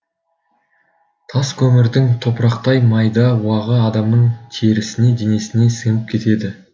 тас көмірдің топырақтай майда уағы адамның терісіне денесіне сіңіп кетеді